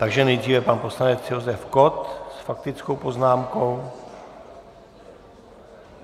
Takže nejdříve pan poslanec Josef Kott s faktickou poznámkou...